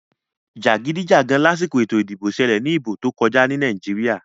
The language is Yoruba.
Jagidijagan lásìkò ètò ìdìbò ṣẹlẹ ní ìbò tó kọjá ní Nàìjíríà.